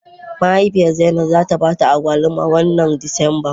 Mahaifiyar Zainab za ta ba ta agwaluma wannan Disamba.